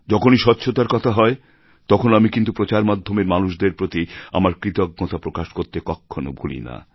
যখনই স্বচ্ছতার কথা হয় তখন আমি কিন্তু প্রচার মাধ্যমের মানুষদের প্রতি আমার কৃতজ্ঞতা প্রকাশ করতে কখনো ভুলি না